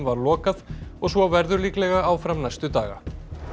var lokað og svo verður líklega áfram næstu daga